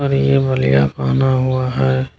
और ये बलिया पहना हुआ है।